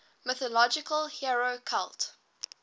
mythological hero cult